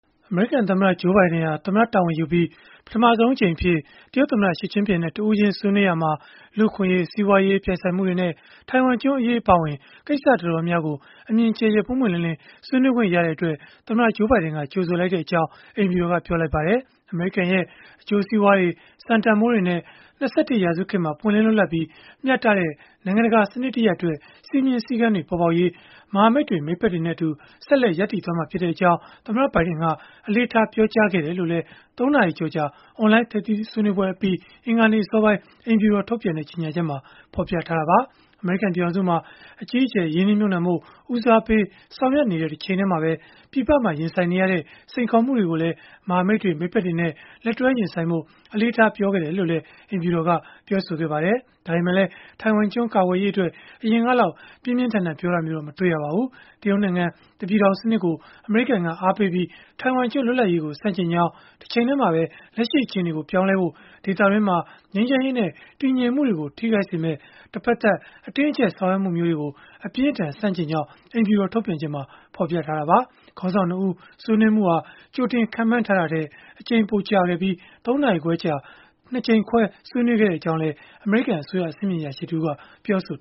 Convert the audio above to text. အမေရိကန်သမ္မတ Joe Biden ဟာ သမ္မတတာဝန်ယူပြီး ပထမဆုံးအကြိမ်အဖြစ် တရုတ်သမ္မတ Xi Jinping နဲ့ တဦးချင်းဆွေးနွေးရာမှာ လူ့အခွင့်အရေး၊ စီးပွားရေး ပြိုင်ဆိုင်မှုတွေနဲ့ ထိုင်ဝမ်ကျွန်းအရေး အပါအဝင် ကိစ္စတော်တော်များများကို အမြင်ကျယ်ကျယ်၊ ပွင့်ပွင့်လင်းလင်း ဆွေးနွေးခွင့် ရခဲ့တဲ့အတွက် သမ္မတ Joe Biden ကကြိုဆိုကြောင်း အိမ်ဖြူတော်က ပြောလိုက်ပါတယ်။ အမေရိကန်ရဲ့ အကျိုးစီးပွားတွေ၊ စံတန်ဘိုးတွေနဲ့ ၂၁ ရာစုခေတ်မှာ ပွင့်လင်းလွတ်လပ်ပြီး မျှတတဲ့ နိုင်ငံတကာ စနစ်တရပ်အတွက် စည်းမျဉ်းစည်းကမ်းတွေ ပေါ်ပေါက်ရေး မဟာမိတ်တွေ၊ မိတ်ဖက်တွေနဲ့အတူ ဆက်လက် ရပ်တည်သွားမှာဖြစ်ကြောင်း သမ္မတဘိုင်ဒင်က အလေးထား ပြောကြားခဲ့တယ်လို့လည်း ၃ နာရီကျော်ကြာ အွန်လိုင်းထိပ်သီးဆွေးနွေးပွဲအပြီး အင်္ဂါနေ့ အစောပိုင်း အိမ်ဖြူတော်က ထုတ်ပြန်တဲ့ ကြေညာချက်မှာ ဖော်ပြခဲ့တာပါ။ အမေရိကန် ပြည်ထောင်စုမှာ အကြီးအကျယ် ရင်းနှီးမြှုပ်နှံဖို့ ဦးစားပေး ဆောင်ရွက်နေတဲ့ တချိန်တည်းမှာပဲ ပြည်ပမှာ ရင်ဆိုင်နေရတဲ့ စိန်ခေါ်မှုတွေကိုလည်း မဟာမိတွေ၊ မိတ်ဖက်တွေနဲ့ လက်တွဲရင်ဆိုင်ဖို့ အလေးထား ပြောခဲ့ကြောင်းလည်း အိမ်ဖြူတော်က ပြောပါတယ်။ ဒါပေမဲ့လည်း ထိုင်ဝမ်ကျွန်း ကာကွယ်ရေးအတွက် အရင်ကလောက် ပြင်းပြင်းထန်ထန် ပြောတာမျိုးတော့ မတွေ့ရပါဘူး။ တရုတ်နိုင်ငံ တပြည်ထောင် စနစ်ကို အမေရိကန်က အားပေးပြီး ထိုင်ဝမ်ကျွန်း လွတ်လပ်ရေးကို ဆန့်ကျင်ကြောင်း၊ တချိန်တည်းမှာပဲ လက်ရှိအခြေအနေကို ပြောင်းလဲဖို့၊ ဒေသတွင်းမှာ ငြိမ်းချမ်းရေးနဲ့ တည်ငြိမ်မှုတွေကို ထိခိုက်စေမယ့် တဖက်သတ်အတင်းအကျပ် ဆောင်ရွက်မှုမျိုးတွေကို အပြင်းအထန် ဆန့်ကျင်ကြောင်း အိမ်ဖြူတော် ထုတ်ပြန်ချက်မှာ ဖော်ပြခဲ့တာပါ။ ခေါင်းဆောင် ၂ ဦး ဆွေးနွေးမှုဟာ ကြိုတင်ခန့်မှန်းထားတာထက် အချိန်ပိုကြာခဲ့ပြီး ၃ နာရီခွဲကြာ ၂ ကြိမ်ခွဲ ဆွေးနွေးခဲ့ကြောင်းလည်း အမေရိကန်အစိုးရ အဆင့်မြင့်အရာရှိတဦးက ပြောဆို